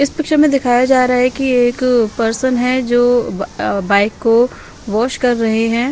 इस पिक्चर में दिखाया जा रहा है कि एक पर्सन है जो अ बाइक को वॉश कर रहे हैं।